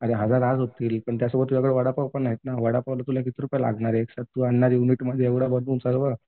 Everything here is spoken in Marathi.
अरे हजार आज होतील पण त्यासोबत तुझ्याकडे वडापावपण आहेत ना वडापावला तुला किती रुपये लागणार आहेत? तू आणणार युनिटमध्ये एवढं सर्व